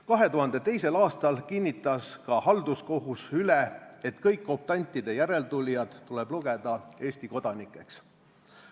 2002. aastal kinnitas ka halduskohus üle, et kõik optantide järeltulijad tuleb lugeda Eesti kodanikeks.